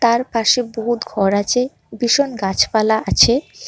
তার পাশে বহুত ঘর আছে ভীষণ গাছপালা আছে।